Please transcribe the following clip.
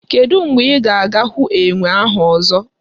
Kedụ mgbe ị ga-ahụ enwe ahụ ọzọ?